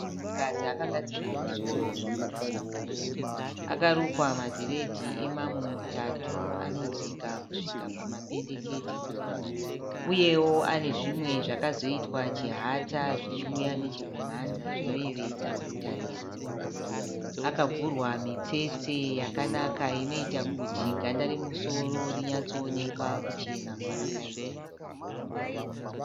Munhukadzi akagadzira musoro zvinonwisa mvura. Akarukwa madhiredhi emamumutatu anodzika kusvika pamapendekete. Uyewo ane zvimwe zvakazoitwa chihata zvichiuya nechekumhanza zvinoyevedza kutarisa. Akavhurwa mitsetse yakanaka inoita kuti ganda romusoro rinyatsoonekwa kuchena kwarakaita.